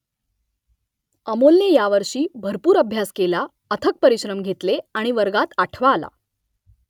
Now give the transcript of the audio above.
अमोलने यावर्षी भरपूर अभ्यास केला अथक परिश्रम घेतले आणि वर्गात आठवा आला